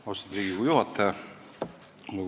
Austatud Riigikogu juhataja!